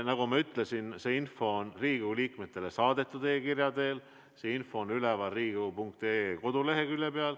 Nagu ma ütlesin, see info on Riigikogu liikmetele saadetud e-kirja teel, see info on üleval Riigikogu koduleheküljel.